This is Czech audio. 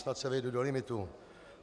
Snad se vejdu do limitu.